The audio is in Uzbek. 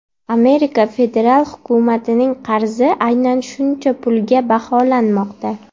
Amerika federal hukumatining qarzi aynan shuncha pulga baholanmoqda.